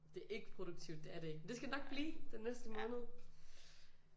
Det er ikke produktivt det er det ikke men skal det nok blive den næste måned